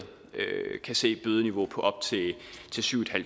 kan se et bødeniveau på op til syv